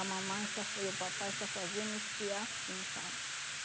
A mamãe só foi e o papai só faziam me espiar assim, sabe?